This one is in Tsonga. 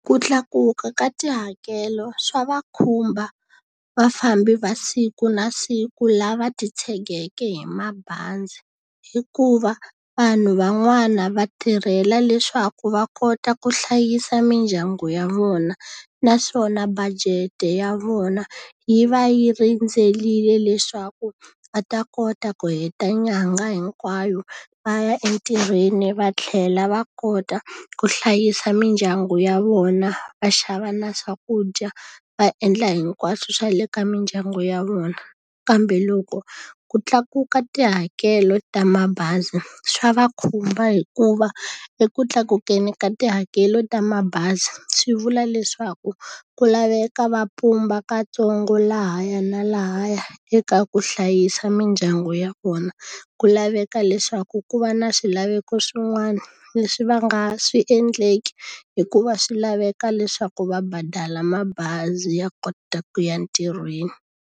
Ku tlakuka ka tihakelo swa va khumba vafambi va siku na siku lava titshegeke hi mabazi, hikuva vanhu van'wana va tirhela leswaku va kota ku hlayisa mindyangu ya vona. Naswona budget-e ya vona yi va yi rindzerile leswaku a ta kota ku heta nyangha hinkwayo va ya entirhweni va tlhela va kota ku hlayisa mindyangu ya vona, va xava na swakudya, va endla hinkwaswo swa le ka mindyangu ya vona. Kambe loko ku tlakuka tihakelo ta mabazi swa va khumba hikuva, eku tlakukeni ka tihakelo ta mabazi swi vula leswaku ku laveka ka ntsongo lahaya na lahaya eka ku hlayisa mindyangu ya vona. Ku laveka leswaku ku va na swilaveko swin'wana leswi va nga swi endleki hikuva swi laveka leswaku va badala mabazi ya kota ku ya ntirhweni.